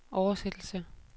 oversættelse